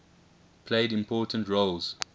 played important roles